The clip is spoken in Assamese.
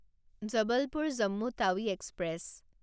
জবলপুৰ জম্মু টাৱি এক্সপ্ৰেছ